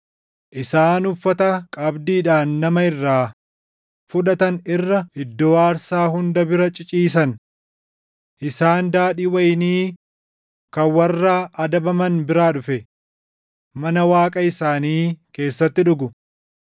Isaan uffata qabdiidhaan nama irraa fudhatan irra iddoo aarsaa hunda bira ciciisan. Isaan daadhii wayinii kan warra adabaman biraa dhufe, mana waaqa isaanii keessatti dhugu.